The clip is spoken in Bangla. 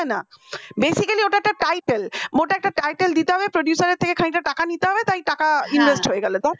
না basically ওটা একটা title ওটা একটা title দিতে হবে producer এর থেকে খানিক টা টাকা নিতে হবে তাই টাকা invest হয়ে গেল